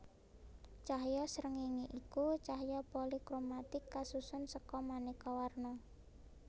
Cahya srengéngé iku cahya polikromatik kasusun seka manéka warna